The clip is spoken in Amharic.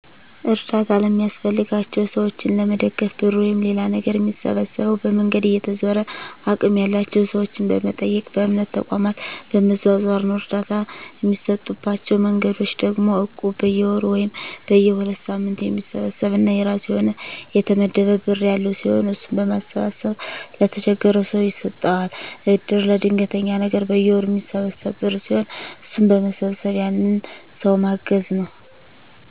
አርዳታ ለሚያስፈልጋቸው ሰዎችን ለመደገፍ ብር ወይም ሌላ ነገር ሚሰበሰበው፦ በመንገድ እየተዞረ፣ አቅም ያላቸው ሰዎችን በመጠየቅ፣ በእምነት ተቋማት በመዟዟር ነው። እርዳታ እሚሰጡባቸው መንገዶች ደግሞ እቁብ፦ በየወሩ ወይም በየ ሁለት ሳምንቱ የሚሰበሰብ እና የራሱ የሆነ የተመደበ ብር ያለው ሲሆን እሱን በማሰባሰብ ለተቸገረው ሰው ይሰጠዋል። እድር፦ ለድንገተኛ ነገር በየወሩ ሚሰበሰብ ብር ሲሆን እሱን በመሰብሰብ ያንን ሰው ማገዝ ነው።